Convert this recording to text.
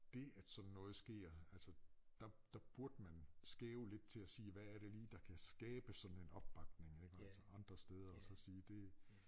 Dét at sådan noget sker altså der der burde man skæve lidt til at sige hvad er det lige der kan skabe sådan en opbakning ikke altså andre steder og så sige det